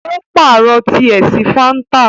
o paarọ tiẹ sí fanta.